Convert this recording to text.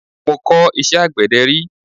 Mọ kọ̀ iṣẹ́ àgbẹ̀dẹ rí.